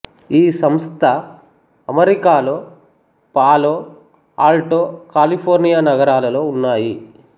ఈ సంస్థ అమెరికాలో పాలో ఆల్టో కాలిఫోర్నియా నగరాలలో ఉన్నాయి